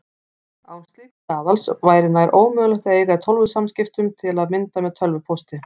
Án slíks staðals væri nær ómögulegt að eiga í tölvusamskiptum, til að mynda með tölvupósti.